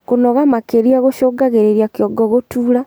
Kunoga makirĩa gucungagirirĩa kĩongo gutuura